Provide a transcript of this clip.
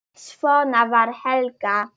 Svona var Helga.